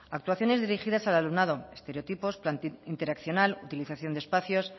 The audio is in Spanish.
actuaciones dirigidas al alumnado estereotipos interaccional utilización de espacios